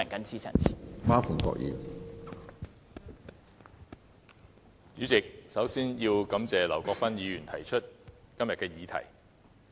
主席，首先要感謝劉國勳議員提出今天的議案。